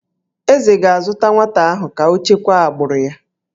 Eze ga-azụta nwata ahụ ka o chekwaa agbụrụ ya